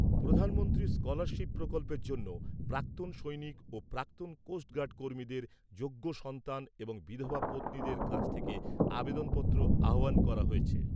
প্রধানমন্ত্রীর স্কলারশিপ প্রকল্পের জন্য প্রাক্তন সৈনিক ও প্রাক্তন কোস্ট গার্ড কর্মীদের যোগ্য সন্তান এবং বিধবা পত্নীদের কাছ থেকে আবেদনপত্র আহ্বান করা হয়েছে।